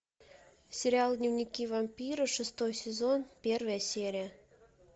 сериал дневники вампира шестой сезон первая серия